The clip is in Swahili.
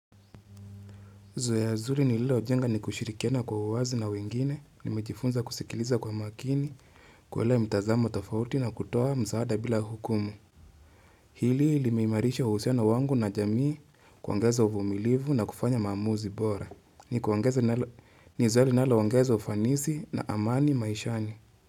Zoe zuri nililojenga ni kushirikiana kwa uwazi na wengine, nimejifunza kusikiliza kwa makini, kuelewa mtazamo tofauti na kutoa msaada bila hukumu. Hili limeimarisha uhusiana wangu na jamii kuangaza uvumilivu na kufanya maamuzi bora. Ni kuongeza nalo ongeza ufanisi na amani maishani.